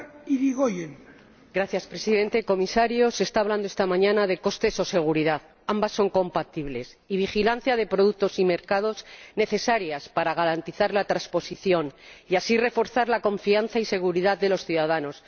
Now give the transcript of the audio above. Señor Presidente, se está hablando esta mañana de costes o seguridad ―ambos son compatibles― y de vigilancia de productos y mercados, necesaria para garantizar la transposición y así reforzar la confianza y seguridad de los ciudadanos.